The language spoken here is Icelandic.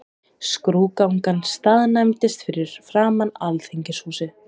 Skrúðgangan staðnæmdist fyrir framan Alþingishúsið.